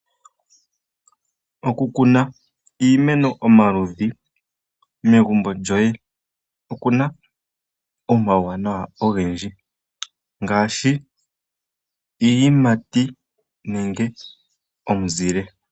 Okukuna iimeno omaludhi megumbo lyoye okuna omauwanawa ogendji ngaashi iiyimati nenge omuzile.